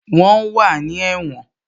Wọ́n wà ní ẹ̀wọ̀n